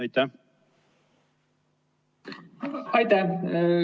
Aitäh!